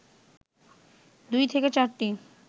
২ থেকে ৪টি